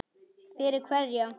Fyrir hverja